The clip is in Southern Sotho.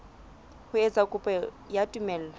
ho etsa kopo ya tumello